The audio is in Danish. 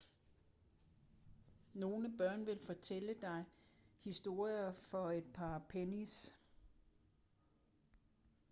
nogle børn vil fortælle dig historien for et par pennies